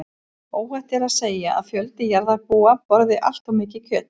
Óhætt er því að segja að fjöldi jarðarbúa borði allt of mikið kjöt.